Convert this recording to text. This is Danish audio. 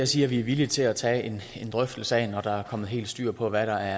siger vi er villige til at tage en drøftelse af når der er kommet helt styr på hvad der